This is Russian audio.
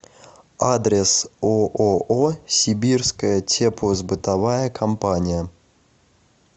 адрес ооо сибирская теплосбытовая компания